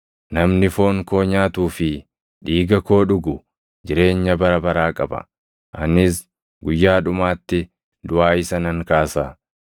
Namni foon koo nyaatuu fi dhiiga koo dhugu jireenya bara baraa qaba. Anis guyyaa dhumaatti duʼaa isa nan kaasa.